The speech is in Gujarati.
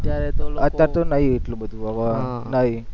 અત્યાર તો નહિ એટલું બધું નહીં